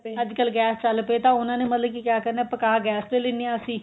ਅੱਜਕਲ ਗੈਸ ਚੱਲ ਪਏ ਤਾਂ ਉਹਨਾ ਨੇ ਮਤਲਬ ਕਿ ਕਿਆ ਕਰਨਾ ਪਕਾ ਗੈਸ ਤੇ ਲਿੰਦੇ ਹਾਂ ਅਸੀਂ